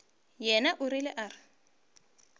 yena o rile a re